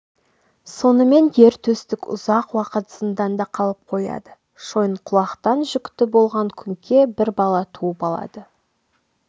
сонымен ер төстік ұзақ уақыт зынданда қалып қояды шойынқұлақтан жүкті болып күңке бір бала туып алады